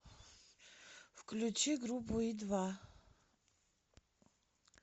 включи группу и два